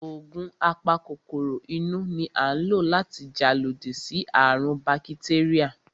Ògùn a pa kòkòrò inú ni à ń lò láti jà lodí sí àrùn ún bakitéríà